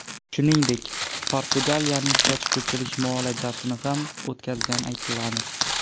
Shuningdek, portugaliyalikning soch ko‘chirish muolajasini ham o‘tkazgani aytiladi.